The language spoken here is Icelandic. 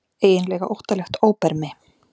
Eiginlega óttalegt óbermi.